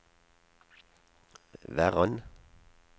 Verran